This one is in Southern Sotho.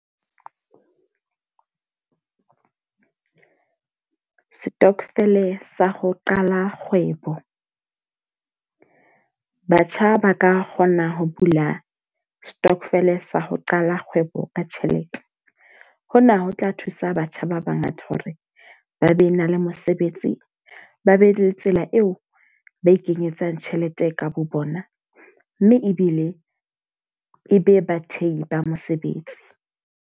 Stokvel sa ho qala kgwebo. Batjha ba ka kgona ho bula stokvel sa ho qala kgwebo ka tjhelete. Ho na ho tla thusa batjha ba ba ngata hore ba be na le mosebetsi, ba be le tsela eo ba ikenyetsa tjhelete ka bo bona. Mme ebile e be bathehi ba mosebetsi.